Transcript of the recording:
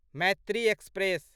Maitri express